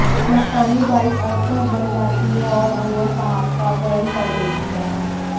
मस्तानी बाई अथर्व बन जाती है और अहुआ साहब का अपहरण कर लेती है